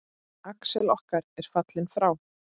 Axel okkar er fallinn frá.